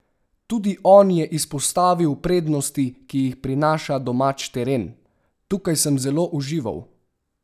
Tudi on je izpostavil prednosti, ki jih prinaša domač teren: "Tukaj sem zelo užival.